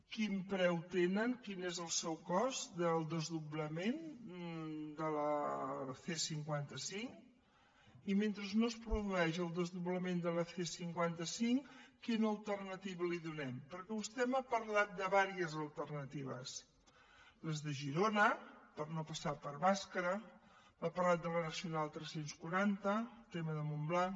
quin preu tenen quin és el cost del desdoblament de la c cinquanta cinc i mentre no es produeix el desdoblament de la c cinquanta cinc quina alternativa li donem perquè vostè m’ha parlat de diverses alternatives les de girona per no passar per bàscara m’ha parlat de la nacional tres cents i quaranta tema de montblanc